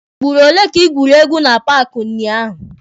Ugboro ole ka ị gwuru egwu na paaki unyaahụ?